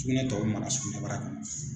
Sugunɛ tɔ bɛ mara sugunɛbara kɔnɔ